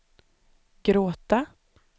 gråta